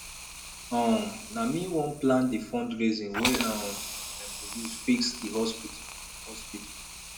um na me wan plan di fundraising wey um dem go use fix di hospital hospital